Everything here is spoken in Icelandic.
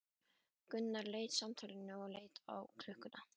Gunnar sleit samtalinu og leit á klukkuna.